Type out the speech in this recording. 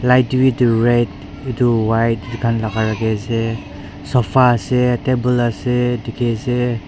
right dae bi etu red tu white kan laka raki ase sofa ase table ase tiki ase.